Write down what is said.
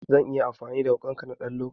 Zan iya amfani da wuƙanka na ɗan lokaci?